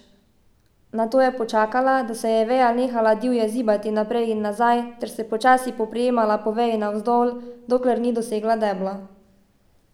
Nato je počakala, da se je veja nehala divje zibati naprej in nazaj, ter se počasi preprijemala po veji navzdol, dokler ni dosegla debla.